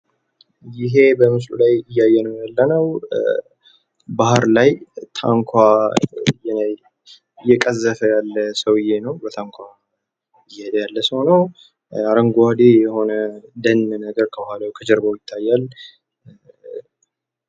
ይሄ በምስሉ ላይ እያየነው ያለነው ባህር ላይ ታንኳ እየቀዘፈ ያለ ሰውዬ ነው በታንኳ እየሄደ ያለ ሰው ነው። አረጓዴ የሆነ ደን ነገር ከጀርባው ይታያል።